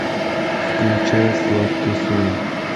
включай сладкий сон